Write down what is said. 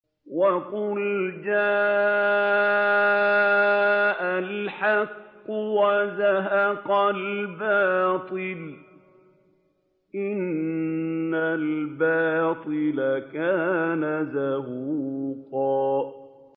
وَقُلْ جَاءَ الْحَقُّ وَزَهَقَ الْبَاطِلُ ۚ إِنَّ الْبَاطِلَ كَانَ زَهُوقًا